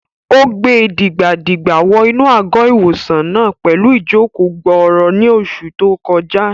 Ó gbe dìgbà-dìgbà wọ inú àgọ́-ìwòsàn náà pẹ̀lú ìjòkó-gbọọrọ ní oṣù tó kọjá